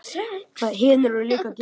Allir hinir voru miklu betri.